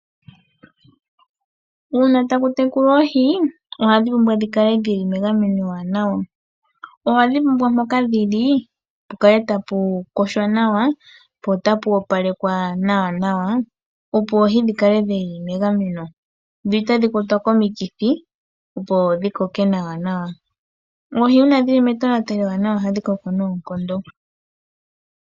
Uuna taku tekulwa oohi, ohadhi pumbwa okukala dhi li megameno ewanawa. Ohadhi pumbwa okukala pehala lya opalekwa nolya yogoka nawa, opo dhi kale dha gamenwa komikithi. Uuna oohi dhi li metonatelo ewanawa; ohadhi koko nawa noonkondo.